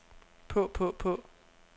på på på